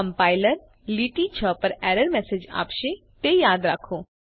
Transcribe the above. compiler લીટી 6 પર error message આપશે તે યાદ રાખો